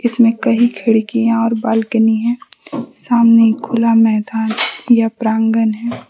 इसमें कहीं खिड़कियां और बालकनी हैं सामने खुला मैदान या प्रांगन हैं।